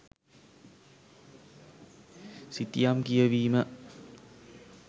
සිතියම් කියවීම